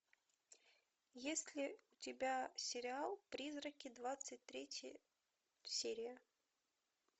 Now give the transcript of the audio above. есть ли у тебя сериал призраки двадцать третья серия